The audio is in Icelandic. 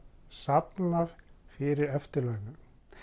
safna fyrir eftirlaunum